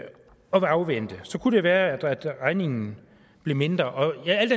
afvente kunne det være at regningen blev mindre alt